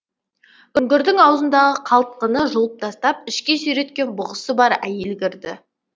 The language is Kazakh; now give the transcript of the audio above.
үңгірдің аузындағы қалтқыны жұлып тастап ішке сүйреткен бұғысы бар әйел кірді